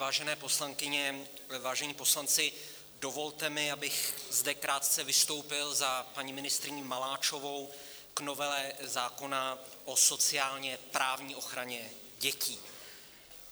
Vážené poslankyně, vážení poslanci, dovolte mi, abych zde krátce vystoupil za paní ministryni Maláčovou k novele zákona o sociálně-právní ochraně dětí.